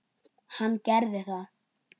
Hann gerði það.